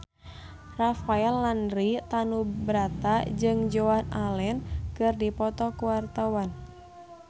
Rafael Landry Tanubrata jeung Joan Allen keur dipoto ku wartawan